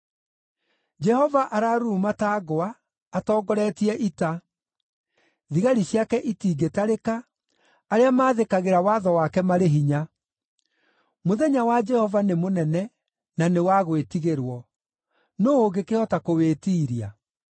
Jehova araruruma ta ngwa atongoretie ita; thigari ciake itingĩtarĩka, arĩa maathĩkagĩra watho wake marĩ hinya. Mũthenya wa Jehova nĩ mũnene, na nĩ wa gwĩtigĩrwo. Nũũ ũngĩkĩhota kũwĩtiiria?